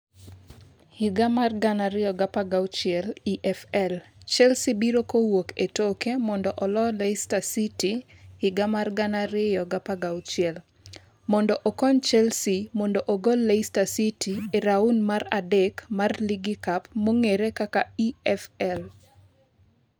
2016 EFL: Chelsea biro kowuok e toke mondo oloyo Leicester City 2016. mondo okony Chelsea mondo ogol leicester city e raun mar adek mar ligi cup (EFL).